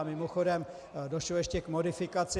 A mimochodem došlo ještě k modifikaci.